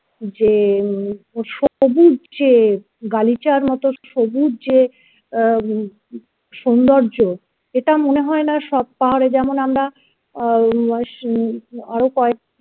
যে সবুজ যে গালিচার মতো সবুজ যে উম সৌন্দর্য এটা মনে হয় না সব পাহাড়ে যেমন আমরা আরো কয়েক